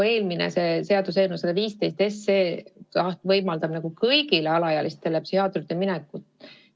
Eelmine seaduseelnõu, eelnõu 115, võimaldab kõigil alaealistel psühhiaatri juurde minna.